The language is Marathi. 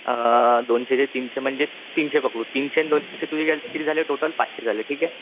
तीनशे पकडू, तीनशे न दोनशे म्हणजे किती झाले टोटल पाचशे झाले ठीके